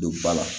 Don ba la